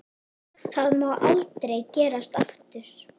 Það má aldrei gerast aftur.